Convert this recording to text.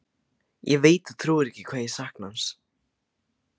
Ég veit þú trúir ekki hvað ég sakna hans.